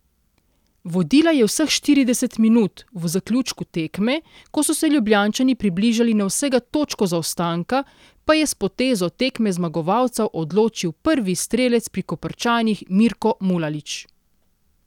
Vodila je vseh štirideset minut, v zaključku tekme, ko so se Ljubljančani približali na vsega točko zaostanka, pa je s potezo tekme zmagovalca odločil prvi strelec pri Koprčanih Mirko Mulalić.